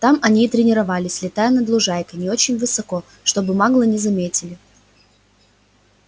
там они и тренировались летая над лужайкой не очень высоко чтобы маглы не заметили